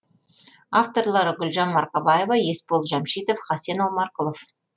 авторлары гүлжан марқабаева есбол жамшитов хасен омарқұлов